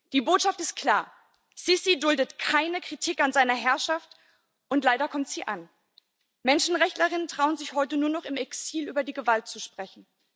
Die Botschaft ist klar Al Sisi duldet keine Kritik an seiner Herrschaft, und leider kommt sie an. Menschenrechtlerinnen und Menschenrechtler trauen sich heute nur noch im Exil, über die Gewalt zu sprechen.